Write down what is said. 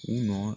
U nɔ